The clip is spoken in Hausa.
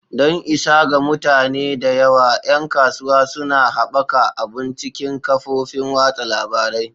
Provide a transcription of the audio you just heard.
Don isa ga mutane da yawa, 'yan kasuwa suna haɓaka abun cikin kafofin watsa labarai.